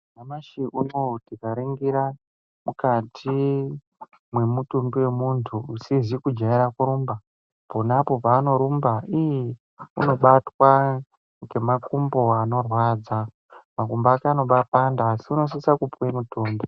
Nyamashi unowu tikaringira mukati mwemutumbi wemunthu usizi kujaire kurumba, ponapo peanorumba iiih, unobatwa ngemakumbo anorwadza. Makumbo ake anobaapanda asi unosise kupuwe mitombo.